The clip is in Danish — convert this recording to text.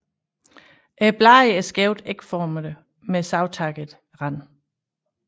Bladene er skævt ægformede med savtakket rand